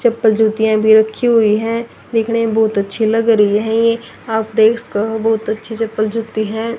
चप्पल जूतियां भी रखी हुई हैं देखने में बहुत अच्छी लग रही है आप देख स्क बहुत अच्छी चप्पल जूती हैं।